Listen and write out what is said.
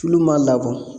Tulu ma labɔ